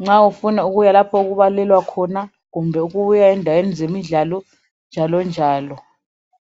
nxa ufuna ukuyelapho okubalelwa khona kumbe ukuya endaweni zemidlalo njalonjalo